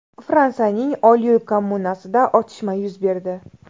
Fransiyaning Olyul kommunasida otishma yuz berdi.